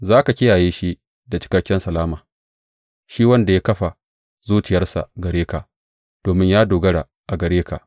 Za ka kiyaye shi da cikakken salama shi wanda ya kafa zuciyarsa gare ka, domin ya dogara a gare ka.